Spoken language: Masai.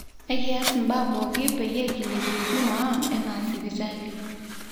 ekiyaas mbaa pooki peyie kilepie huduma aang ena sipitali